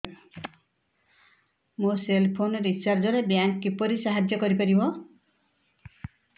ମୋ cell phone recharge ରେ bank କିପରି ସାହାଯ୍ୟ କରିପାରିବ